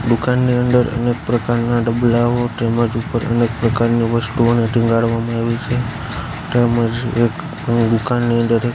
દુકાનની અંદર અનેક પ્રકારના ડબલાઓ તેમજ ઉપર જ ઉપર ઘણી પ્રકારની વસ્તુઓને ટીંગાડવામાં આવ્યું છે તેમ જ એક દુકાનની અંદર એક--